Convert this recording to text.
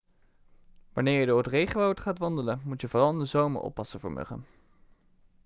wanneer je door het regenwoud gaat wandelen moet je vooral in de zomer oppassen voor muggen